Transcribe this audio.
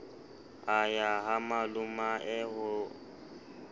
a ya ha malomae ho